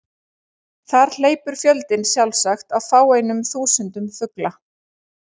Þar hleypur fjöldinn sjálfsagt á fáeinum þúsundum fugla.